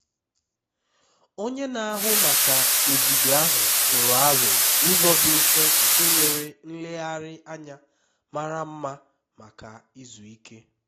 onye na-ahụ maka ogige ahụ tụrụ aro ụzọ dị mfe nke nwere nlegharị anya mara mma maka izu ike